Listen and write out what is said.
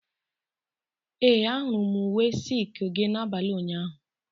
Ee, ahụrụ m uwe silku gị n'abalị ụnyaahụ.